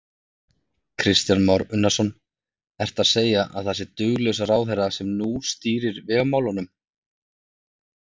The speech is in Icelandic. Kristján Már Unnarsson: Ertu að segja að það sé duglaus ráðherra sem nú stýrir vegamálunum?